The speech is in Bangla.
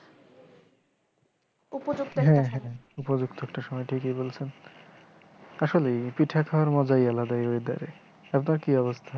উপযুক্ত একটা সময়, হ্যাঁ হ্যাঁ উপযুক্ত একটা সময়, ঠিকিই বলসেন আসলেই পিঠা খাওয়ার মজাই আলাদা এই ওয়েদারে। আপনার কি অবস্থা?